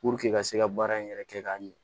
Puruke ka se ka baara in yɛrɛ kɛ k'a ɲɛ